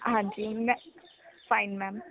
ਹਾਂਜੀ ਮੈਂ fine maam